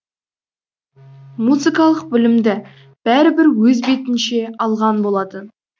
музыкалық білімді бәрібір өз бетінше алған болатын